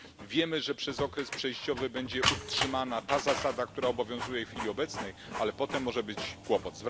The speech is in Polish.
Wiemy, że przez okres przejściowy będzie utrzymana ta zasada, która obowiązuje w chwili obecnej, ale potem może być kłopot.